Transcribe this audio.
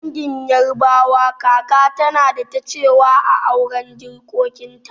A dangin yarabawa, kaka tana da ta cewa a auren jikokinta